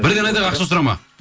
бірден айтайық ақша сұрама